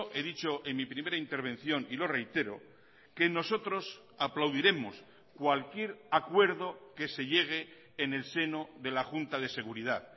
he dicho en mi primera intervención y lo reitero que nosotros aplaudiremos cualquier acuerdo que se llegue en el seno de la junta de seguridad